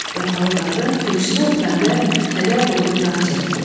Vəfalı qadın köksünü ötürəndə kədər dolu bir ah çəkdi.